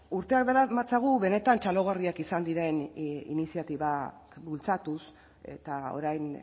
urteak daramatzagu benetan txalogarriak izan diren iniziatibak bultzatuz eta orain